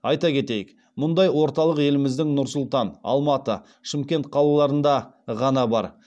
айта кетейік мұндай орталық еліміздің нұр сұлтан алматы шымкент қалаларында ғана бар